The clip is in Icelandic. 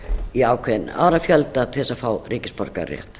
í ákveðinn árafjölda til þess að fá ríkisborgararétt